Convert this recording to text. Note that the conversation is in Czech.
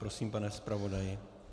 Prosím, pane zpravodaji.